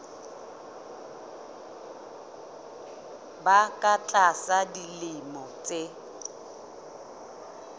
ba ka tlasa dilemo tse